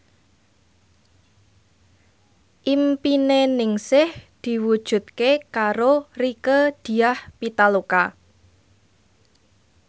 impine Ningsih diwujudke karo Rieke Diah Pitaloka